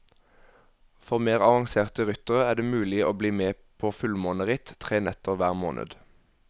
For mer avanserte ryttere er det mulig å bli med på fullmåneritt, tre netter hver måned.